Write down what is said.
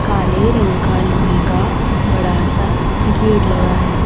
काले रंग का लोहे का बड़ा सा गेट लगा है।